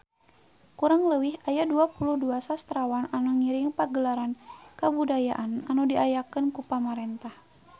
Kurang leuwih aya 22 sastrawan anu ngiring Pagelaran Kabudayaan anu diayakeun ku pamarentah